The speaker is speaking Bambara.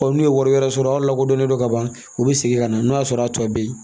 n'u ye wari wɛrɛ sɔrɔ a lakodɔnnen do ka ban u bɛ segin ka na n'o y'a sɔrɔ a tɔ bɛ yen